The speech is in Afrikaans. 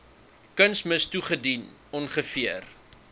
kunsmis toegedien ongeveer